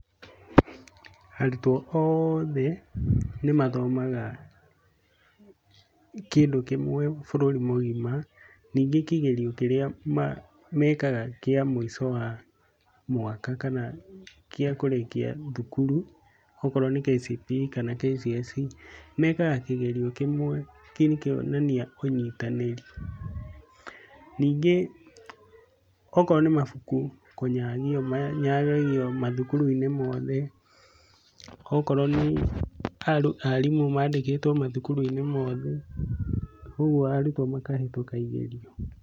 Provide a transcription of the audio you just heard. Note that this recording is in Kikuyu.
Arutwo oothe nĩ mathomaga kĩndũ kĩmwe bũrũri míĩgima, ningĩ kĩgerio kĩrĩa mekaga kĩa mũico wa mwaka kana gĩa kũrĩkia thukuru okorwo ni KCPE kana KCSE, mekaga kĩgerio kĩmwe, kĩu nĩ kuonania ũnyitanĩri. Ningĩ okorwo nĩ mabuku kũnyagio, manyagagio mathukuru-inĩ mothe, okorwo nĩ arimũ mandikĩtwo mathukuru-i.nĩ mothe, ũguo arutwo makahĩtũka igerio